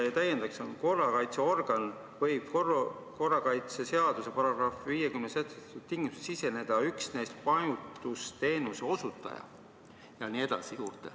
Siin on kirjas, et korrakaitseorgan võib korrakaitseseaduse §-s 50 sätestatud tingimustel siseneda üksnes majutusteenuse osutaja ja nii edasi ...